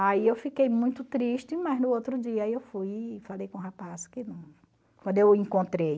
Aí eu fiquei muito triste, mas no outro dia eu fui e falei com o rapaz que quando eu o encontrei,